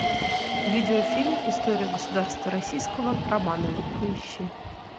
видео фильм история государства российского романовы поищи